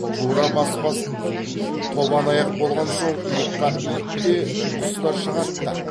тура баспас тобан аяқ болған соң иыққа ит те құс та шығад та